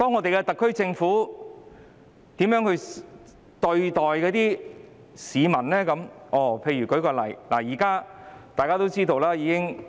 然而，特區政府對待市民時卻倒行逆施，我舉一個眾所周知的例子。